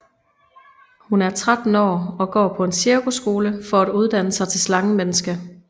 Hun er 13 år og går på en cirkusskole for at uddanne sig til slangemenneske